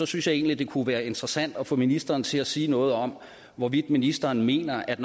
synes jeg egentlig det kunne være interessant at få ministeren til at sige noget om hvorvidt ministeren mener at